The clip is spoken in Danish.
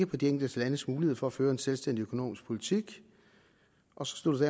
på de enkelte landes mulighed for at føre en selvstændig økonomisk politik og slutter det